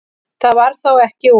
Það varð þó ekki úr.